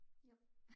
Ja